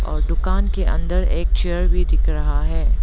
और दुकान के अंदर एक चेयर भी दिख रहा है।